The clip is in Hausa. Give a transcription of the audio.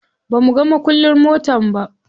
Bamuga mukullin motar ba.